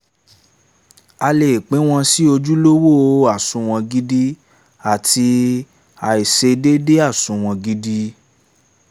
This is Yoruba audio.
a lè pín wọn sì ojúlówó àsunwon gidi àti àìṣedéédé àsunwon gidi